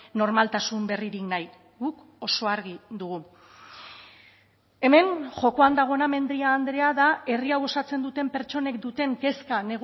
normaltasun berririk nahi guk oso argi dugu hemen jokoan dagoena mendia andrea da herri hau osatzen duten pertsonek duten kezka